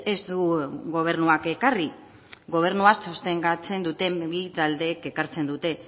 ez du gobernuak ekarri gobernua sostengatzen duten bi taldeek ekartzen dute